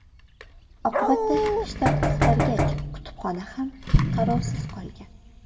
Oqibatda shtat qisqargach, kutubxona ham qarovsiz qolgan.